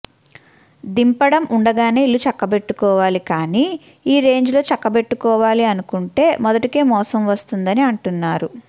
దింపడం ఉండగానే ఇల్లు చక్కబెట్టుకోవాలి కానీ ఈ రేంజ్ లో చక్కబెట్టుకోవాలి అనుకుంటే మొదటికే మోసం వస్తుందని అంటున్నారు